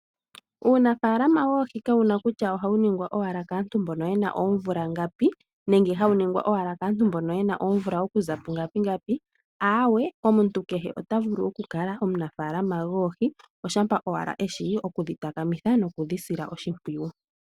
Uunafaalama woohi kawu na kutya ohawu ningwa owala kaantu mbono ye na oomvula ngapi nenge hawu ningwa owala kaantu mbono ye na oomvula okuza pungapi ngapi, awee omuntu kehe ota vulu oku kala omunafaalama goohi oshampa owala eshi oku dhi takamitha noku dhi sila oshimpwiyu.